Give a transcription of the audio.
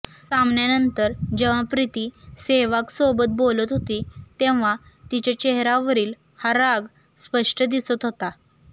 सामन्यानंतर जेव्हा प्रिती सेहवागसोबत बोलत होती तेव्हा तिच्या चेहऱ्यावरील हा राग स्पष्ट दिसत होता